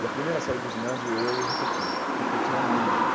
E a primeira série do ginásio, eu repeti, porque eu tinha medo.